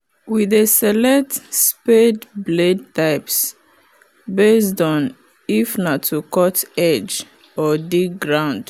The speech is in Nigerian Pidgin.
we dey select spade blade types based on if na to cut edge or dig ground